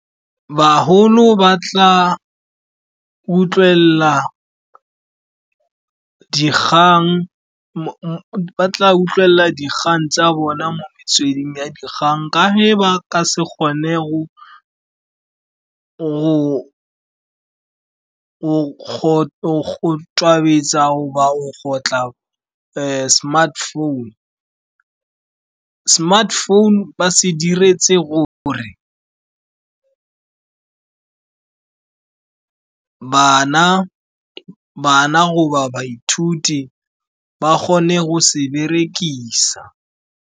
Baholo ba tla utlwelela dikgang tsa bona mo metsweding ya dikgang, ka ge ba ka se kgone go tobetsa goba go kgotlha smartphone. Smartphone ba se diretse gore bana goba baithuti ba kgone go se berekisa.